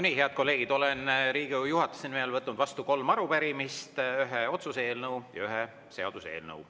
Nii, head kolleegid, olen Riigikogu juhatuse nimel võtnud vastu kolm arupärimist, ühe otsuse eelnõu ja ühe seaduseelnõu.